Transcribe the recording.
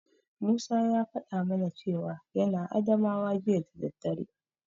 Musa ya faɗa mana cewa yana Adamawa jiya da daddare.